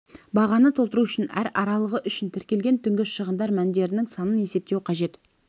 бағанын толтыру үшін әр аралығы үшін тіркелген түнгі шығындар мәндерінің санын есептеу қажет